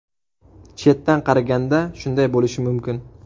Chetdan qaraganda shunday bo‘lishi mumkin.